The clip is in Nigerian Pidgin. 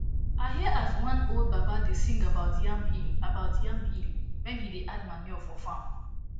i hear as wan old baba da sing about yam hill about yam hill when he da add manure for farm